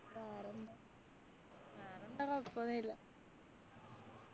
വേറെന്താ വേറെന്താ കൊഴപ്പോന്നും ഇല്ല